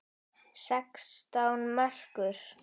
Sextán merkur!